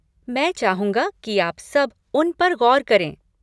मैं चाहूंगा कि आप सब उन पर गौर करें।